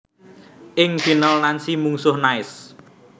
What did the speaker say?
Ing final Nancy mungsuh Nice